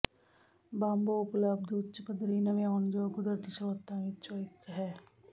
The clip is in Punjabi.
ਬਾਂਬੋ ਉਪਲਬਧ ਉੱਚ ਪੱਧਰੀ ਨਵਿਆਉਣਯੋਗ ਕੁਦਰਤੀ ਸਰੋਤਾਂ ਵਿੱਚੋਂ ਇੱਕ ਹੈ